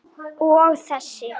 Og þessi?